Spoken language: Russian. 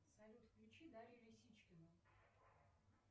салют включи дарью лисичкину